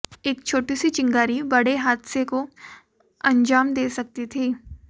एक छोटी सी चिंगारी बड़े हादसे को अंजाम दे सकती थी